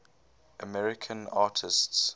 american artists